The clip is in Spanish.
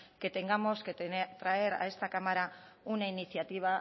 que tengamos que traer a esta cámara una iniciativa